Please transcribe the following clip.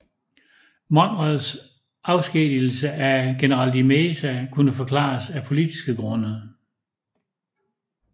Monrads afskedigelse af general de Meza kunne forklares af politiske grunde